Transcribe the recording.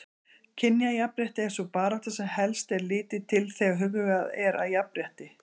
Kynjajafnrétti er sú barátta sem helst er litið til þegar hugað er að jafnrétti.